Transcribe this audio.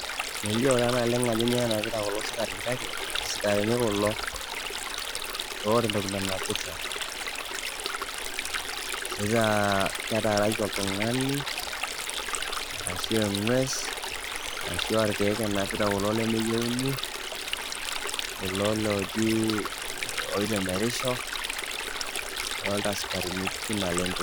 Melio taa naleng'a ajo kainyoo enapita kulo sikarini kake isikarini kulo oota entoki nanapita. either ketaaraki oltung'ani arashu eng'ues arashua ilkeek enapita kulo lemeyieuni, kulo looji oitemerisho. adolita sikarini pii naleng'.